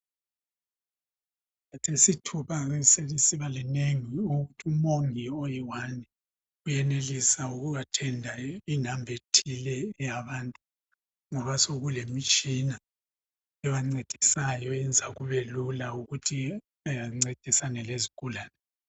Khathesi ithuba selisiba linengi ukuthi umongi oyiwani uyenelisa uku athenda inamba ethile yabantu ngoba sokulemitshina yabantu eyenza kubelula ukuthi bencedisane lezigulane .